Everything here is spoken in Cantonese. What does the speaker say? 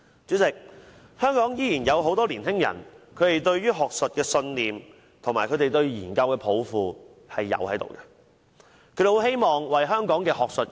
主席，香港仍然有很多年輕人對學術抱有信念和有研究抱負，他們很希望貢獻香港的學術界。